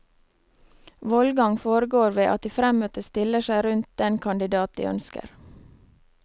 Vollgang foregår ved at de fremmøtte stiller seg rundt den kandidat de ønsker.